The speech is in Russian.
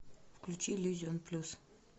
включи иллюзион плюс